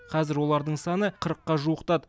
қазір олардың саны қырыққа жуықтады